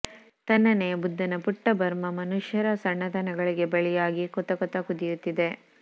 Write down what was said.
ತಣ್ಣನೆಯ ಬುದ್ಧನ ಪುಟ್ಟ ಬರ್ಮಾ ಮನುಷ್ಯರ ಸಣ್ಣತನಗಳಿಗೆ ಬಲಿಯಾಗಿ ಕೊತ ಕೊತ ಕುದಿಯುತ್ತಿದೆ